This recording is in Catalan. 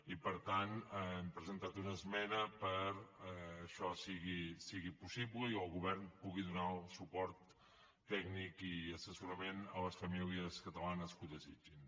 i per tant hem presentat una esmena perquè això sigui possible i el govern pugui donar suport tècnic i assessorament a les famílies catalanes que ho desitgin